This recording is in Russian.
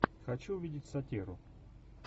хочу увидеть сатиру